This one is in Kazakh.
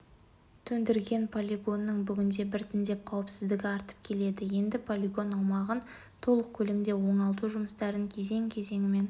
төндірген полигонның бүгінде біртіндеп қауіпсіздігі артып келеді енді полигон аумағын толық көлемде оңалту жұмыстарын кезең-кезеңімен